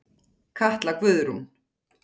Katla Guðrún.